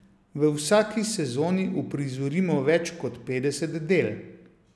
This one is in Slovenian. V vsaki sezoni uprizorimo več kot petdeset del.